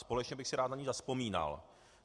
Společně bych si rád na ni zavzpomínal.